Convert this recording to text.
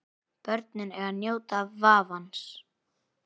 Börnin eiga að njóta vafans.